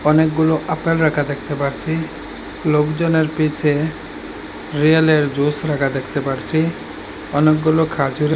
অনেকগুলো আপেল রাখা দেখতে পারসি লোকজনের পিছে রিয়েলের জুস রাখা দেখতে পারছি অনেকগুলো খাজুরের--